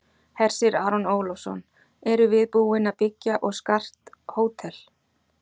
Hersir Aron Ólafsson: Erum við búin að byggja og skart hótel?